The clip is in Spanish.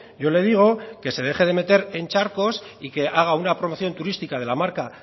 yo le digo que se deje de meter en charcos y que haga una promoción turística de la marca